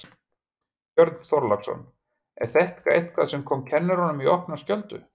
Björn Þorláksson: Er þetta eitthvað sem kom kennurum í opna skjöldu?